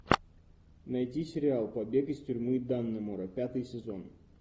найти сериал побег из тюрьмы даннемора пятый сезон